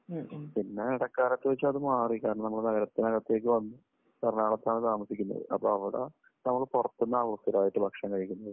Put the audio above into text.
പിന്നെ ഇടക്കാലത്ത് വെച്ച് അത് മാറി. കാരണം നമ്മൾ നഗരത്തിനകത്തേക്ക് വന്നു. എറണാകുളത്താണ് താമസിക്കുന്നത്. അപ്പോ അവിടെ നമ്മൾ പുറത്തുനിന്ന് ആണല്ലോ സ്ഥിരമായിട്ട് ഭക്ഷണം കഴിക്കുന്നത്.